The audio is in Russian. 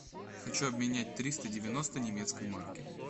хочу обменять триста девяносто немецкой марки